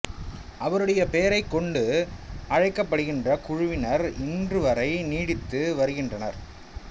அவருடைய பெயரைக் கொண்டு கிறித்தவர் என்று அழைக்கப்படுகின்ற குழுவினர் இன்றுவரை நீடித்து வாழ்ந்துவருகின்றனர்